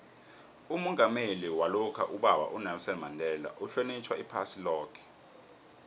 umongameli walokha ubaba unelson mandela uhlonitjhwa iphasi loke